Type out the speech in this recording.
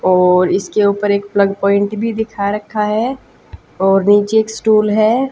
और इसके ऊपर एक प्लग प्वाइंट भी दिखा रखा है और नीचे एक स्टूल है।